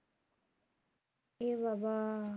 এ বাবা